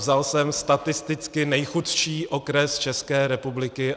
Vzal jsem statisticky nejchudší okres České republiky.